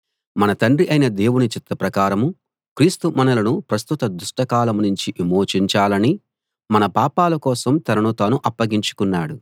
మన తండ్రి అయిన దేవుని చిత్త ప్రకారం క్రీస్తు మనలను ప్రస్తుత దుష్ట కాలం నుంచి విమోచించాలని మన పాపాల కోసం తనను తాను అప్పగించుకున్నాడు